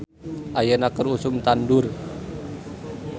"Ayeuna keur usum tandur "